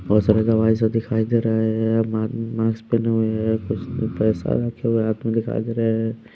बहोत सारे दवाई ये सब दिखाई दे रहे हैं मा मास्क पेहने हुए हैं कुछ पैसा रखे हुए हैं हाथ में दिखाई दे रहे हैं।